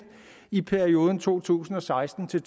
i perioden to tusind og seksten til